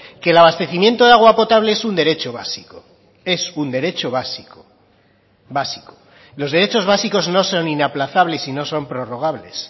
que el abastecimiento de agua potable es un derecho básico es un derecho básico básico los derechos básicos no son inaplazables sino son prorrogables